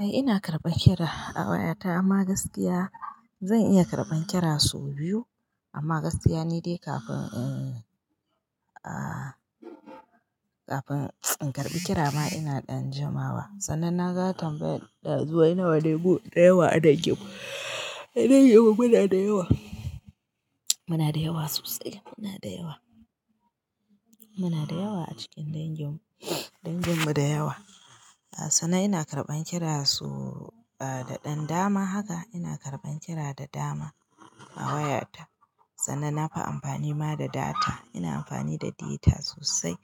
Eh ina karbar kira a waya ta amma gaskiya zan iya karɓan kira sau biyu amma gaskiya ne dai kafin, in, ah, kafin in karɓi kira ma ina ɗan jima wa. Sannan na ga tambayaddazu wai nawane mu da yawa a danginmu, a danginmu muna da yawa, muna da yawa sosai, muna da yawa, muna da yawa a cikin danginmu, danginmu da yawa. Sannan ina karɓan kira su, ah, da ɗan dama haka ina karɓan kira da dama a wayata. Sannan nafi amfani ma da data, ina amfani da data sosai